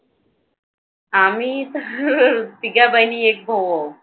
आम्ही तर तिघे बहिणी आणि एक भाऊ आहोत.